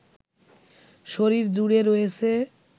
শরীর জুড়ে রয়েছে